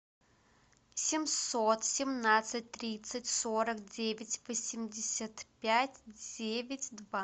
семьсот семнадцать тридцать сорок девять восемьдесят пять девять два